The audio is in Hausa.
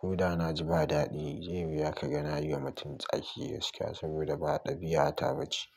ko da na ji ba dadi, zai yi wuya ka ga na yi wa mutum tsaki gaskiya saboda ba ɗabi'ata bace.